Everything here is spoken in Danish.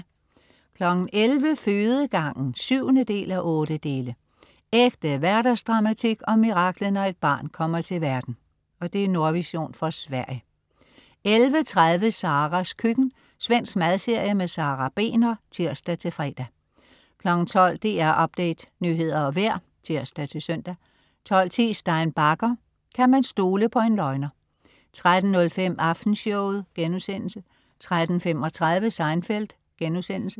11.00 Fødegangen 7:8. Ægte hverdagsdramatik om miraklet, når et barn kommer til verden. Nordvision fra Sverige 11.30 Saras køkken. Svensk madserie. Sara Begner (tirs-fre) 12.00 DR Update Nyheder og vejr (tirs-søn) 12.10 Stein Bagger: Kan man stole på en løgner? 13.05 Aftenshowet* 13.35 Seinfeld*